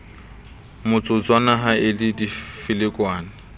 motsotswana ha e le difelekwane